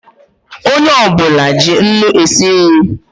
Onye ọ bụla ji nnu esi nri